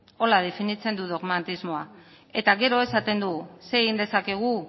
horrela definitzen du dogmatismoa eta gero esaten du zer egin dezakegu